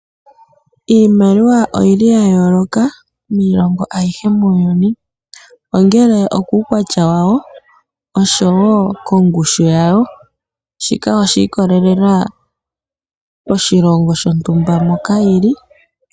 Iimaliwa oyili yayooloka miilongo ayihe muuyuni, ongele okuukwatya wawo, oshowoo kongushu yawo shika oshiikolelelaa oshilongo shontumba moka yili.